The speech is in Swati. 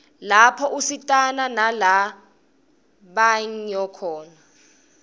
lapho usitana nala banyo khona